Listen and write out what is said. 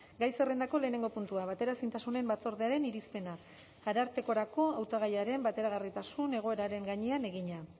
gai zerrendako lehenengo puntua bateraezintasunen batzordearen irizpena arartekorako hautagaiaren bateragarritasun egoeraren gainean egina